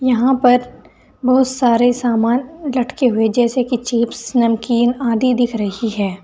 यहां पर बहुत सारे सामान लटके हुए जैसे की चिप्स नमकीन आदि दिख रही हैं।